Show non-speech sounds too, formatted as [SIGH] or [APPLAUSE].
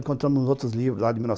Encontramos outros livros lá de mil nove [UNINTELLIGIBLE]